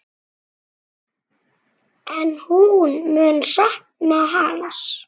En hún mun sakna hans.